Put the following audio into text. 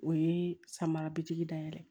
O ye samara bitiki dayɛlɛ ye